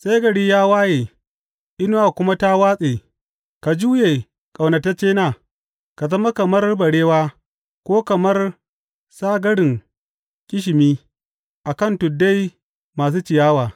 Sai gari ya waye inuwa kuma ta watse, ka juye, ƙaunataccena, ka zama kamar barewa ko kamar sagarin ƙishimi a kan tuddai masu ciyawa.